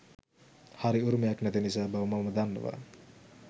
හරි උරුමයක් නැති නිසා බව මම දන්නවා.